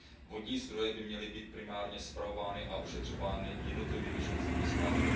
Vodní zdroje by měly být primárně spravovány a ošetřovány jednotlivými členskými státy.